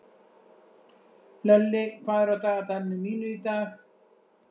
Hlölli, hvað er á dagatalinu mínu í dag?